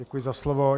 Děkuji za slovo.